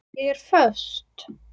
Ég er föst.